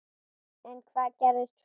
En hvað gerðist svo?